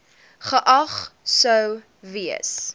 geag sou gewees